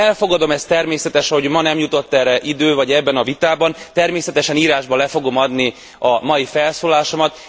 Én elfogadom ezt, természetes, hogy ma erre nem jutott idő vagy ebben a vitában, természetesen írásban le fogom adni a mai felszólalásomat.